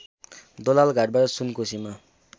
दोलालघाटबाट सुनकोसीमा